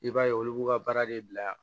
I b'a ye olu b'u ka baara de bila